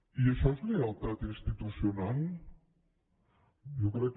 i això és lleialtat institucional jo crec que